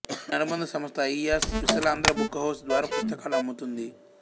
దీని అనుబంధ సంస్థ అయిస విశాలాంధ్ర బుక్ హౌస్ ద్వారా పుస్తకాలు అమ్ముతుంది